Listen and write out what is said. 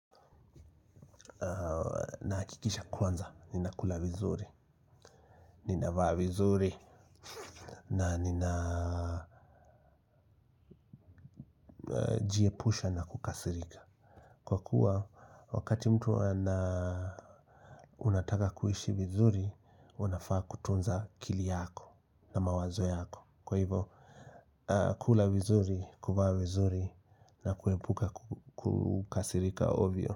Nahakikisha kwanza. Ninakula vizuri. Ninavaa vizuri. Na nina jiepusha na kukasirika. Kwa kuwa wakati mtu ana unataka kuishi vizuri. Unafaa kutunza akili yako na mawazo yako. Kwa hivyo kula vizuri kuvaa vizuri na kuepuka kukasirika ovyo.